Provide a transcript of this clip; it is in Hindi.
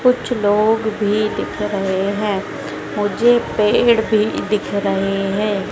कुछ लोग भी दिख रहे है मुझे पेड़ भी दिख रहे है।